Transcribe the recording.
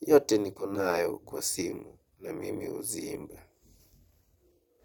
zote nikonazo kwa simu, na mimi huziimba.